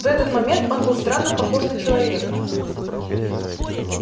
в этот момент он был странно похож на человека